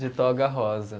De Toga Rosa.